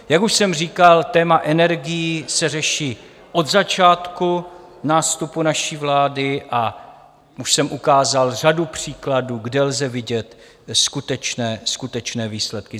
Jak už jsem říkal, téma energií se řeší od začátku nástupu naší vlády a už jsem ukázal řadu příkladů, kde lze vidět skutečné výsledky.